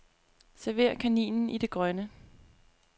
Server kaninen i det grønne.